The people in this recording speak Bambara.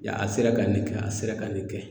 Yan a sera ka nin kɛ a sera ka nin kɛ